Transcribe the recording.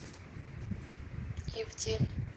ивдель